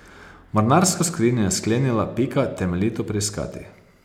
Mornarsko skrinjo je sklenila Pika temeljito preiskati.